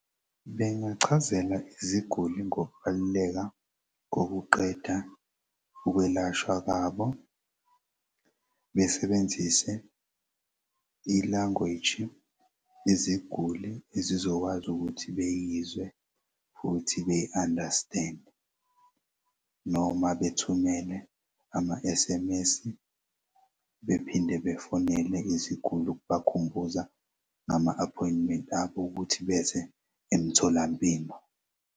Bengichazela iziguli ngokubaluleka kokuqeda ukwelashwa kwabo. Besebenzise i-language iziguli ezizokwazi ukuthi beyizwe futhi beyi-understand-e noma bethumele ama-S_M_S bephinde befonele iziguli ukubakhumbuza ngama-appointment abo ukuthi beze emtholampilo.